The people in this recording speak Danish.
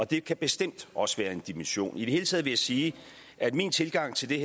det kan bestemt også være en dimension i det hele taget vil jeg sige at min tilgang til det